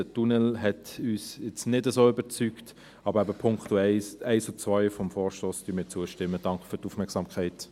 Der Tunnel hat uns jetzt nicht so überzeugt, aber eben: den Punkten 1 und 2 des Vorstosses stimmen wir zu.